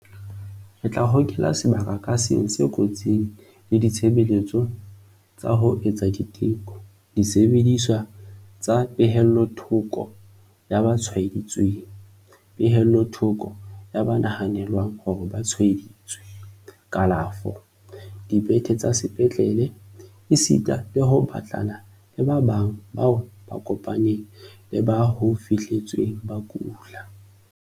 Re tla hokela sebaka ka seng se kotsing le ditshebeletso tsa ho etsa diteko, disebediswa tsa pehellothoko ya ba tshwaeditsweng, pehellothoko ya ba nahanelwang hore ba tshwae-ditswe, kalafo, dibethe tsa sepetlele esita le ho batlana le ba bang bao ba kopaneng le ba ho fihletsweng ba kula.